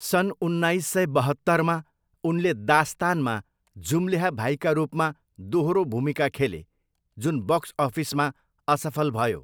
सन् उन्नाइस सय बहत्तरमा, उनले दास्तानमा जुम्ल्याहा भाइका रूपमा दोहोरो भूमिका खेले जुन बक्स अफिसमा असफल भयो।